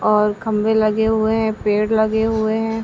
और खंबे लगे हुए है। पेड़ लगे हुए हैं।